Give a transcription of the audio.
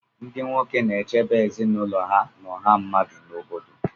Ndị nwoke na-echebe ezinụlọ ha na ọha mmadụ n'obodo